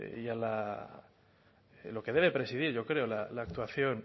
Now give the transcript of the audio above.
y a lo que debe presidir yo creo la actuación